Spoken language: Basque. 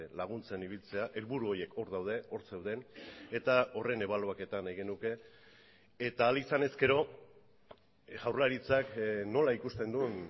laguntzen ibiltzea helburu horiek hor daude hor zeuden eta horren ebaluaketa nahi genuke eta ahal izan ezkero jaurlaritzak nola ikusten duen